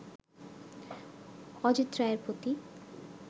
অজিত রায়ের প্রতি